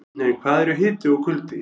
En hvað eru hiti og kuldi?